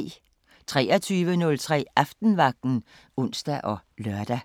23:03: Aftenvagten (ons og lør)